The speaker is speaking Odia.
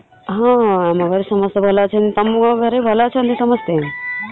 ହଁ ଆମ ଘରେ ସମସ୍ତେ ଭଲ ଅଛନ୍ତି । ତମ ଘରେ ଭଲ ଅଛନ୍ତି ସମସ୍ତେ ?